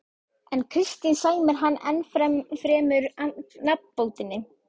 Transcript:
En Kristín sæmir hann ennfremur nafnbótinni